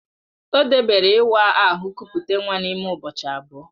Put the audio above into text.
Ọ debere ịwa ahụ kupute nwa n'ime ụbọchị abụọ